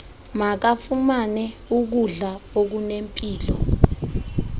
makafumane ukudla okunempilo